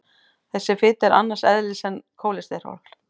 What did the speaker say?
Þessi fita er annars eðlis en kólesteról.